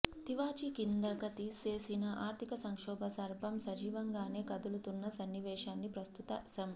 తివాచీకిందక తోసేసిన ఆర్ధిక సంక్షోభ సర్పం సజీవంగానే కదులుతున్న సన్నివేశాన్ని ప్రస్తుత సం